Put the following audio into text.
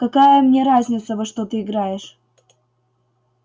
какая мне разница во что ты играешь